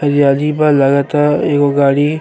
लगता। एगो गाड़ी --